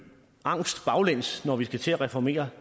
angst baglæns når vi skal til at reformere